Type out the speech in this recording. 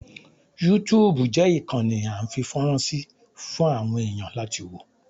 Yúutùùbù jẹ́ ìkànnì a ń fi fọ́rán sí fún àwọn èẹ̀yàn láti wò.